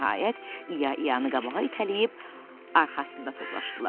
Nəhayət, İya İyanı qabağa itələyib arxasında toplaşdılar.